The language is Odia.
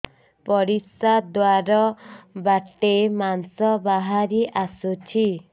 ପରିଶ୍ରା ଦ୍ୱାର ବାଟେ ମାଂସ ବାହାରି ଆସୁଛି